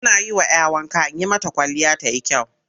Ina yi wa 'ya wanka in yi mata kwalliya ta yi kyau.